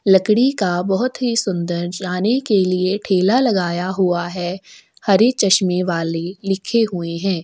लकड़ी का बहुत ही सुन्दर जाने के लिए ठेला लगाया हुआ है हरे चश्मे वाले लिखे हुए है।